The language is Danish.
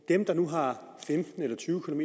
dem der nu har femten eller tyve km